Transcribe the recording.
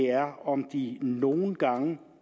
er om de nogle gange